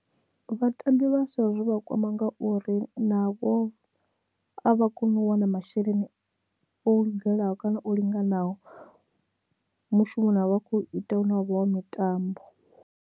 Vhatambi vhaswa zwo vha kwama ngauri navho a vha koni u wana masheleni o lugelaho kana o linganaho mushumoni vha kho ita hune wavha wo mitambo.